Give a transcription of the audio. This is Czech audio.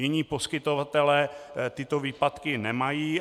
Jiní poskytovatelé tyto výpadky nemají.